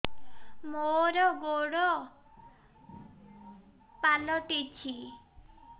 ମୋର ଗୋଡ଼ ପାଲଟିଛି